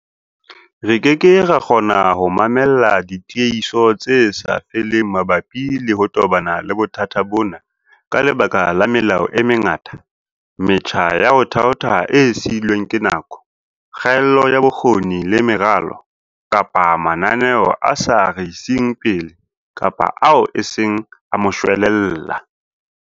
Re keke ra kgona ho mamella ditiehiso tse sa feleng mabapi le ho tobana le bothata bona ka lebaka la melao e mengata, metjha ya ho thaotha e siilweng ke nako, kgaello ya bokgoni le meralo, kapa mananeo a sa re iseng pele kapa ao e seng a moshwelella.